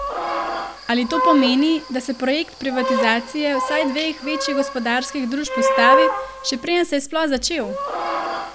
Ali to pomeni, da se projekt privatizacije vsaj dveh večjih gospodarskih družb ustavi, še preden se je sploh začel?